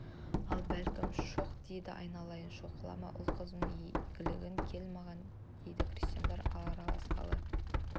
ал бәлем шоқ деді айналайын шоқла ұл-қызыңның игілігін көр маған дейді крестьяндар араласқалы